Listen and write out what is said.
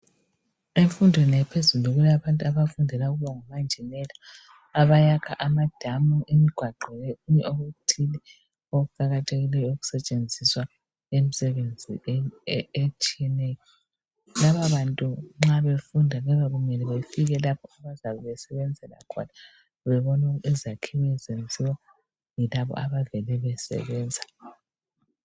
Emfundweni ephezulu kulabantu abafundela ukuba ngomanjinela abayakha amadamu imigwaqo lokunye okuthile okuqakathekileyo okusetshenziswa imisebenzi etshiyeneyo eminengi lababantu nxa befunda kuyabe kumele befike lapho abazabe besebenzela khona bebone izakhiwo ezenziwa yilabo abavele besebenza